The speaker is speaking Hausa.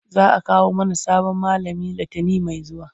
za'a kawo mana sabon mallami litani Mai zuwa